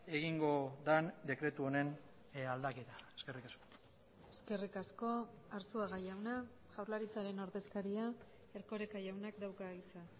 egingo den dekretu honen aldaketa eskerrik asko eskerrik asko arzuaga jauna jaurlaritzaren ordezkaria erkoreka jaunak dauka hitza